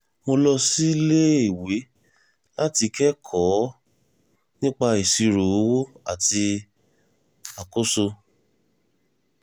mo lọ síléèwé láti kẹ́kọ̀ọ́ nípa ìṣírò owó àti àkóso